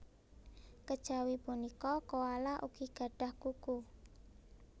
Kejawi punika koala ugi gadhah kuku